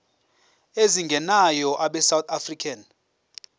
ezingenayo abesouth african